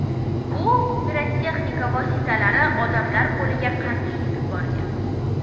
bu pirotexnika vositalari odamlar qo‘liga qanday yetib borgan?.